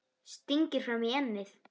Stingir fram í ennið.